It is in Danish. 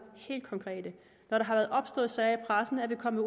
når der har været opstået sager i pressen er vi kommet